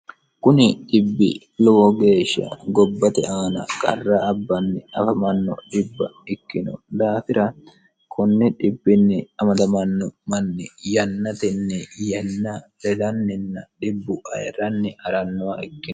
kuni dibbi lowo geeshsha gobbate aana karra abbanni afamanno dhibba ikkino daafira kunni amadamanno manni yannatinni yanna lelanninn dhibbu ayirranni arannuwa ikkino